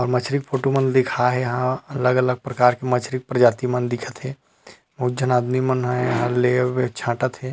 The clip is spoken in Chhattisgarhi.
ये मछरी फोटो मन ल दिखाए हे यहाँ अलग -अलग प्रकार के मछरी प्रजाति मन दिखत हे अउ बहुत जहाँ आदमी मन हा ले बर छाटत हे।